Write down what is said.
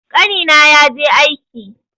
Ƙanina ya je aike.